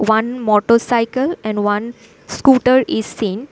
One motorcycle and one scooter is seen.